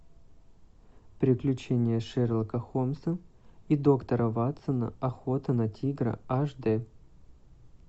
приключения шерлока холмса и доктора ватсона охота на тигра аш дэ